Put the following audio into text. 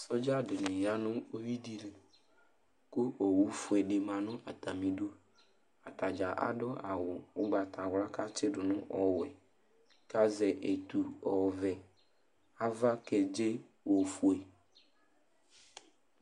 Sɔdza dɩnɩ ya nʋ uyui dɩ li kʋ owu fue dɩ ma nʋ atamɩdu Ata dza adʋ awʋ ʋgbatawla kʋ atsɩdʋ nʋ ɔwɛ kʋ azɛ etu ɔvɛ Ava kedze ofue